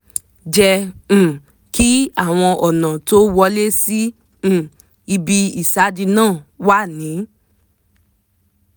jẹ́ um kí àwọn ọ̀nà tó wọlé sí um ibi ìsádi náà wà ní